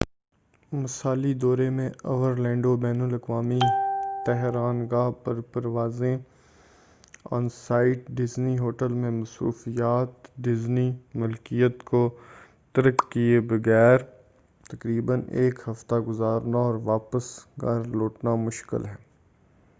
مثالی دورے میں اورلینڈو بین الاقوامی طیران گاہ پر پروازیں، آن سائٹ ڈیزنی ہوٹل میں مصروفیت، ڈیزنی ملکیت کو ترک کیے بغیر تقریبا ایک ہفتہ گزارنا، اور واپس گھر لوٹنا شامل ہے۔